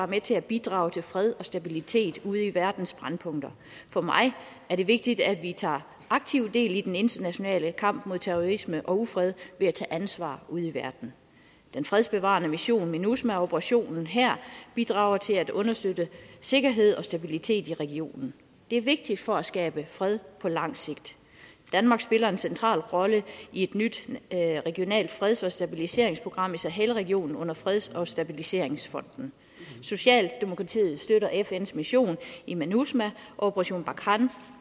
med til at bidrage til fred og stabilitet ude i verdens brændpunkter for mig er det vigtigt at vi tager aktivt del i den internationale kamp mod terrorisme og ufred ved at tage ansvar ude i verden den fredsbevarende mission minusma og operationen her bidrager til at understøtte sikkerhed og stabilitet i regionen det er vigtigt for at skabe fred på lang sigt danmark spiller en central rolle i et nyt regionalt freds og stabiliseringsprogram i sahel regionen under freds og stabiliseringsfonden socialdemokratiet støtter fns mission minusma og operation barkhane